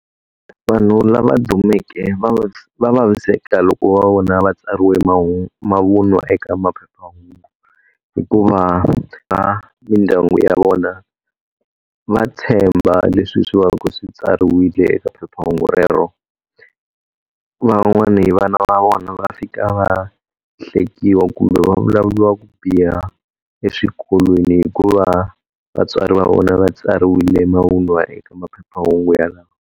Vanhu lava dumeke va vaviseka loko va vona va tsariwe mavunwa eka maphephahungu. Hikuva va mindyangu ya vona, va tshemba leswi swi va ka swi tsariwile eka phephahungu rero. Van'wani vana va vona va fika va hlekiwa kumbe vulavuriwa ku biha eswikolweni hikuva vatswari va vona va tsariwile mavunwa eka maphephahungu yalawa.